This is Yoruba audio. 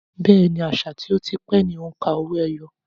Bẹ́ẹ̀ni, àṣà tí ó ti pẹ́ ni òǹkà owó-ẹyọ